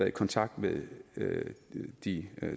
i kontakt med de